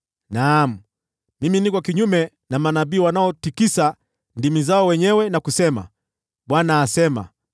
“Naam, mimi niko kinyume na manabii wanaotikisa ndimi zao wenyewe na kusema, ‘ Bwana asema.’